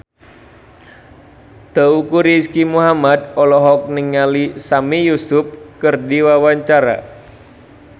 Teuku Rizky Muhammad olohok ningali Sami Yusuf keur diwawancara